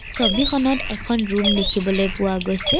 ছবিখনত এখন ৰূম দেখিবলৈ পোৱা গৈছে।